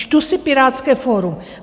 Čtu si Pirátské fórum.